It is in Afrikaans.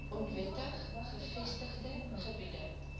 onwettig gevestigde gebiede